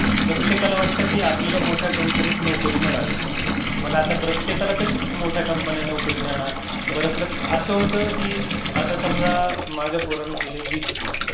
प्रत्येकाला वाटतं की आपल्याला मोठ्या कंपनीत नोकरी मिळावी. आता प्रत्येकाला कशी मोठ्या कंपनीत नोकरी देणार? बरं, असं होतं की आता समजा माझ्या पोराने दिलं बीसीए.